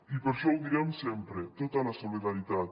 i per això ho direm sempre tota la solidaritat